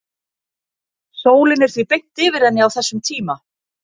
sólin er því beint yfir henni á þessum tíma